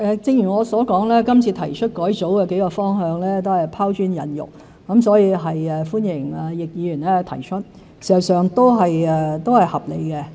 正如我所說，這次提出改組的幾個方向都是拋磚引玉，所以歡迎易議員提出建議。